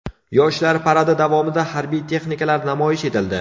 Yoshlar paradi davomida harbiy texnikalar namoyish etildi.